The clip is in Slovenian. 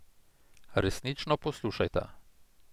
Resnično poslušajta.